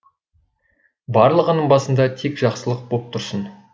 барлығыңның басында тек жақсылық боп тұрсын